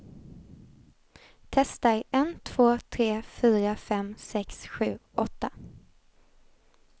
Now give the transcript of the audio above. Testar en två tre fyra fem sex sju åtta.